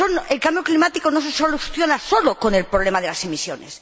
El cambio climático no se soluciona sólo con el problema de las emisiones.